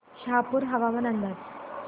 शहापूर हवामान अंदाज